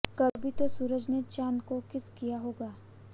कभी तो सूरज ने चांद को किस किया होगा